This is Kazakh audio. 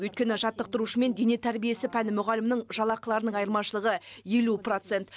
өйткені жаттықтырушы мен дене тәрбиесі пәні мұғалімінің жалақыларының айырмашылығы елу процент